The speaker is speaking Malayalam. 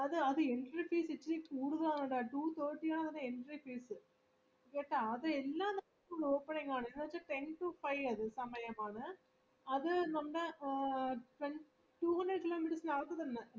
opening ആണ് ten to five ഒര് സമയമാണ് അത് നമ്മള് two hundred kilometers ന് അകത്ത് തന്നെ ബ് Bangalore ന് അകത്തുതന്നെ two hundred ആ അത്